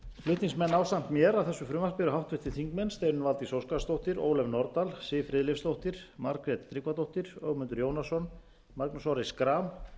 flutningsmenn ásamt mér að þessu frumvarpi eru háttvirtir þingmenn steinunn valdís óskarsdóttir ólöf nordal siv friðleifsdóttir margrét tryggvadóttir ögmundur jónasson magnús orri schram